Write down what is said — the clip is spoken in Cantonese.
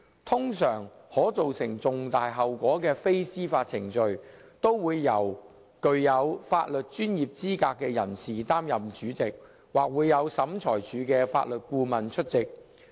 通常，可造成重大後果的非司法程序，都會由具有法律專業資格的人士擔任主席，或會有審裁處的法律顧問出席。